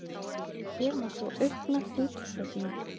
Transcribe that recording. Hér má sjá aukna fitusöfnun.